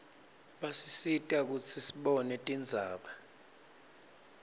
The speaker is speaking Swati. basisita kutsi sibone tindzaba